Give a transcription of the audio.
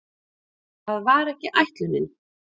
Það var ekki ætlunin.